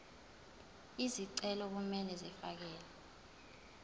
izicelo kumele zifakelwe